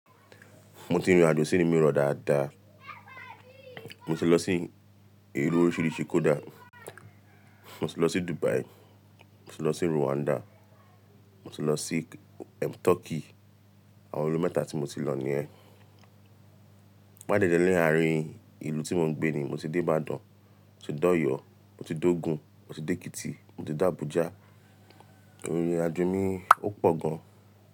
Mo ti rin ìrìn àjò sí ìlú mìíràn dáadáa. Mo ti lọ sí ìlú oríṣiríṣi kódà. Mo ti lọ sí Dubai, mo ti lọ sí Rwanda, mo ti lọ sí ẹm Turkey. Àwọn ìlú mẹ́ta tí mo ti lọ nìyen. Páìdẹdẹ ní àárín ìlú tí mo ń gbé ni mo ti dé Ìbàdàn, mo ti dé Ọ̀yọ́, mo ti dé Ogun, mo ti dé Èkìtì, mo ti dé Abuja. Ìrìn àjò mi ò pọ̀ gan.